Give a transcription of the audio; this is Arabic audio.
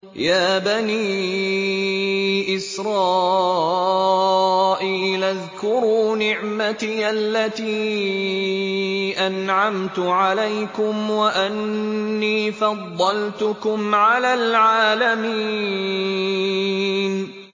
يَا بَنِي إِسْرَائِيلَ اذْكُرُوا نِعْمَتِيَ الَّتِي أَنْعَمْتُ عَلَيْكُمْ وَأَنِّي فَضَّلْتُكُمْ عَلَى الْعَالَمِينَ